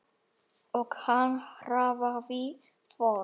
Og hann hraðaði för.